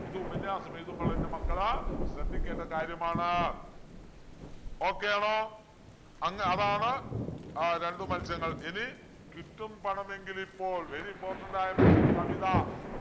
ഇത് ഉപന്യാസം എഴുതുമ്പോൾ എൻ്റെ മക്കൾ ശ്രദ്ധിക്കേണ്ട കാര്യമാണ് okay യാണോ അങ്ങ് അതാണ് ആഹ് രണ്ടു മത്സ്യങ്ങൾ ഇനി കിട്ടും പണമെങ്കിലിപ്പോൾ very important ആയ മറ്റൊരു കവിത